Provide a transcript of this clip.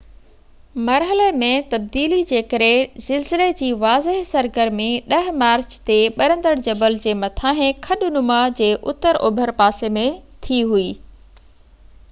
مرحلي ۾ تبديلي جي ڪري زلزلي جي واضع سرگرمي 10 مارچ تي ٻرندڙ جبل جي مٿانهن کڏ نما جي اتر اوڀر پاسي ٿي هوئي